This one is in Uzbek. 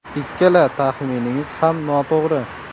Ikkala taxminingiz ham noto‘g‘ri.